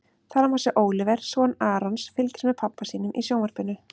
Þar má sjá Óliver, son Arons, fylgjast með pabba sínum í sjónvarpinu.